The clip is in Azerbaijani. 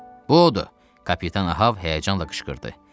Bu odur, kapitan Ahəb həyəcanla qışqırdı.